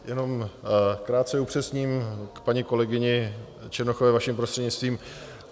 Jenom krátce upřesním k paní kolegyni Černochové vaším prostřednictvím.